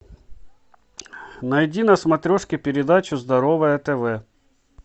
найди на смотрешке передачу здоровое тв